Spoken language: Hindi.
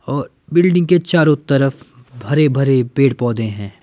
और बिल्डिंग के चारों तरफ भरे-भरे पेड़-पौधे हैं।